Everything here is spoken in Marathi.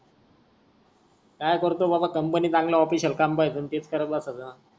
काय करतो बाबा company चांगल official काम बसून टेक करत बसायच.